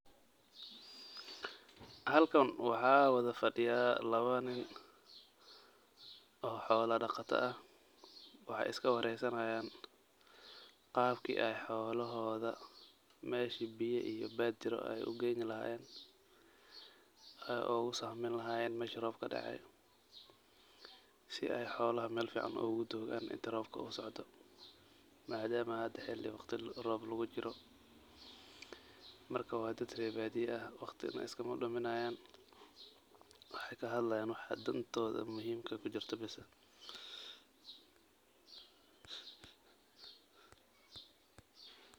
Halkan waxaa wada fadhiya laba nin oo xoola dhaqata ah waxay iska waraysanayan qabki ay xoolahooda meshi biya iyo baad jiro ay u gayni lahayen ay ogu sahmin lahayen meshi roob kadacay si ay xoolaha mel fican ogu doogan inta roobka u socdo maadamo hada xili waqti roob lagujiro marka waa dad rer baadiya ah waqti ne iskama duminayan waxay kahadalyan waxa dhantooda muhiimka kujirta bas ah.